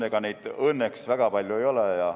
Ega neid õnneks väga palju ei ole.